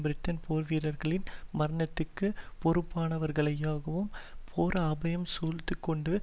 பிரிட்டனின் போர் வீரர்களின் மரணத்திற்கு பொறுப்பானவர்களாகவும் போர் அபாயம் சூழ்ந்துகொண்டு